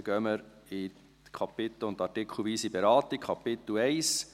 Dann gehen wir zur kapitel- und artikelweisen Beratung über.